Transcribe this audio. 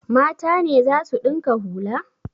Mata ne za su ɗinka hula?